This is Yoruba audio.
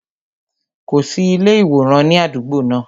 Kò sí ilé iworan ní àdúgbò náà